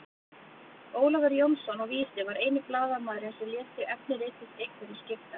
Ólafur Jónsson á Vísi var eini blaðamaðurinn sem lét sig efni ritsins einhverju skipta.